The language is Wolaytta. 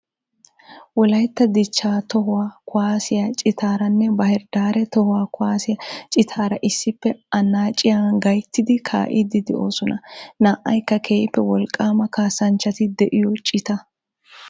Wolaytta dichchaa tohuwaa kuwaasiyaa citaaranne Bahire Daare toho kuwaasiyaa ciitaara issippe annaaciyaa gayttidi kaa'iidi de'oosona. Na"aykka keehippe wolqqaama kasanchchati de'iyoo cita.